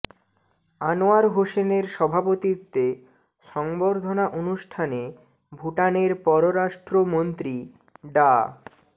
আনোয়ার হোসেনের সভাপতিত্বে সংবর্ধনা অনুষ্ঠানে ভুটানের পররাষ্ট্র মন্ত্রী ডা